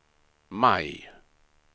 maj